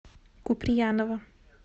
куприянова